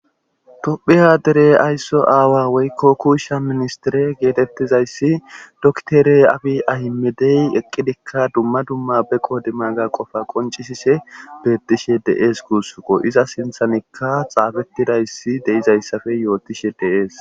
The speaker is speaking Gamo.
tophiya derey aysso aawa woykko kuushsha ministire geetettizayssi doktere abi ahimedey eqqidikka dumma dumma be qoodimaga qofa qoncisishe beettishe dees guussuko iza sinthanikka xaafettidayssi deizayssafe yootishe de'es